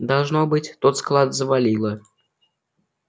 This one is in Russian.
должно быть тот склад завалило